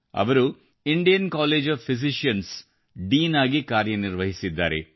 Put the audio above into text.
ಅವರು Indian College of Physicians ನ dean ಆಗಿ ಕಾರ್ಯನಿರ್ವಹಿಸಿದ್ದಾರೆ